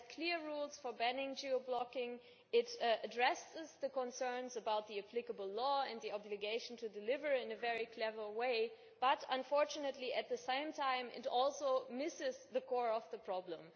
It has clear rules for banning geo blocking, it addresses the concerns about the applicable law and the obligation to deliver it in a very clever way, but unfortunately at the same time it also misses the core of the problem.